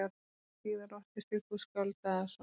Síðar orti Sigfús skáld Daðason